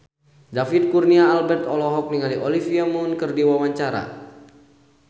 David Kurnia Albert olohok ningali Olivia Munn keur diwawancara